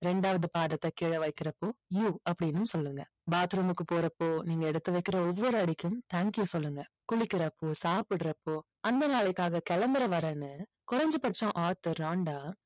ரெண்டாவது பாதத்தை கீழே வைக்கிறப்போ you அப்படின்னும் சொல்லுங்க. bathroom க்கு போறப்போ நீங்க எடுத்து வைக்கிற ஒவ்வொரு அடிக்கும் thank you சொல்லுங்க. குளிக்கிறப்போ சாப்பிடறப்போ அந்த நாளுக்காக கிளம்புற வரைன்னு குறைஞ்சபட்சம் author ராண்டா